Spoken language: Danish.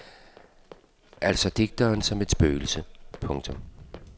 Altså digteren som et spøgelse. punktum